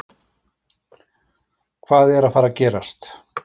Hvað er að fara að gerast?